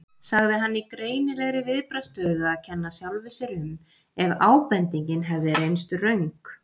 sagði hann í greinilegri viðbragðsstöðu að kenna sjálfum sér um ef ábendingin hefði reynst röng.